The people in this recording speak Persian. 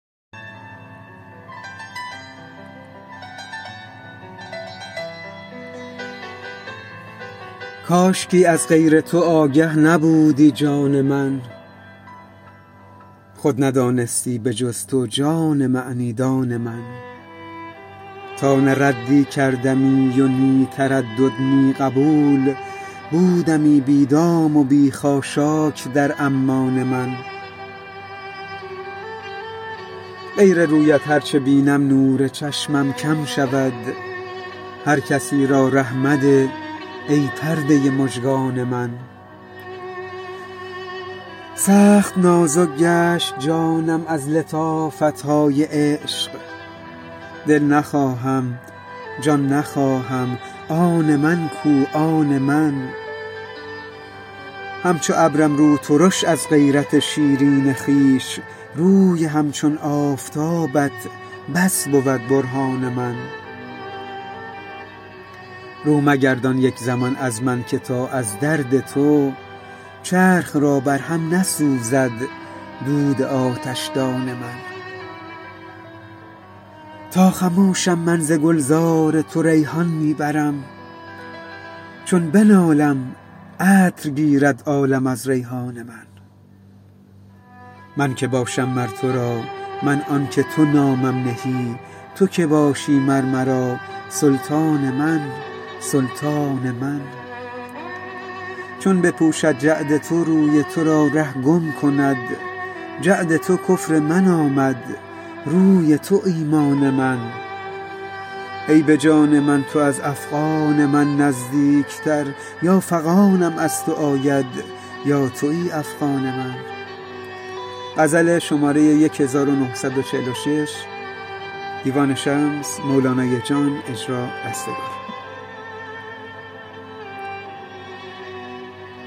کاشکی از غیر تو آگه نبودی جان من خود ندانستی به جز تو جان معنی دان من تا نه ردی کردمی و نی تردد نی قبول بودمی بی دام و بی خاشاک در عمان من غیر رویت هر چه بینم نور چشمم کم شود هر کسی را ره مده ای پرده مژگان من سخت نازک گشت جانم از لطافت های عشق دل نخواهم جان نخواهم آن من کو آن من همچو ابرم روترش از غیرت شیرین خویش روی همچون آفتابت بس بود برهان من رو مگردان یک زمان از من که تا از درد تو چرخ را بر هم نسوزد دود آتشدان من تا خموشم من ز گلزار تو ریحان می برم چون بنالم عطر گیرد عالم از ریحان من من که باشم مر تو را من آنک تو نامم نهی تو کی باشی مر مرا سلطان من سلطان من چون بپوشد جعد تو روی تو را ره گم کنم جعد تو کفر من آمد روی تو ایمان من ای به جان من تو از افغان من نزدیکتر یا فغانم از تو آید یا توی افغان من